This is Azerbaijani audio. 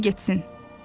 Unudun getsin.